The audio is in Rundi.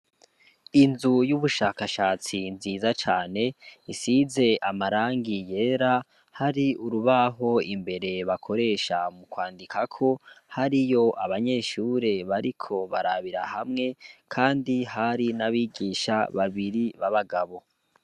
inzu c'ubushakashatsi nziza cane isize amarangi yera hari urubaho imbere bakoresha mukwandikako hariyo abanyeshure bariko barabira hamwe hari n'abigisha babiri babagabo